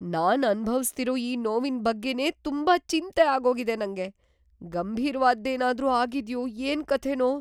ನಾನ್ ಅನುಭವಿಸ್ತಿರೋ ಈ ನೋವಿನ್‌ ಬಗ್ಗೆನೇ ತುಂಬಾ ಚಿಂತೆ ಆಗೋಗಿದೆ ನಂಗೆ. ಗಂಭೀರ್‌ವಾದ್ದೇನಾದ್ರೂ ಆಗಿದ್ಯೋ ಏನ್ಕಥೆನೋ!